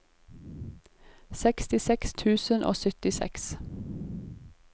sekstiseks tusen og syttiseks